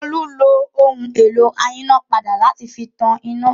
Olú lo ohun-èlò ayínápadà láti fi tan iná.